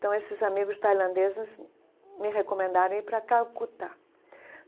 Então, esses amigos tailandeses me recomendaram ir para Calcutá.